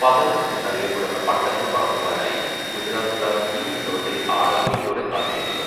പതംഗ്' എന്നറിയപ്പെടുന്ന പട്ടങ്ങൾ പറത്തുവാനായി ഗുജറാത്തുകാർ ഈ ഉത്സവത്തെ ആകാംക്ഷയോടെ കാത്തിരിക്കുന്നു.